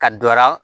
Ka dɔ la